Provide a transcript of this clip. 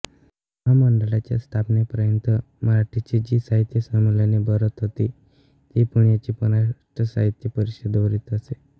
महामंडळाच्या स्थापनेपर्यंत मराठीची जी साहित्य संमेलने भरत होती ती पुण्याची महाराष्ट्र साहित्य परिषद भरवीत असे